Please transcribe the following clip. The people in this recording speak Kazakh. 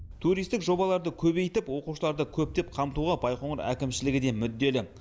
туристік жобаларды көбейтіп оқушыларды көптеп қамтуға байқоңыр әкімшілігі де мүдделі